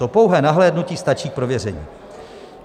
To pouhé nahlédnutí stačí k prověření.